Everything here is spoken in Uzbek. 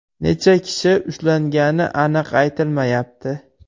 Necha kishi ushlangani aniq aytilmayapti.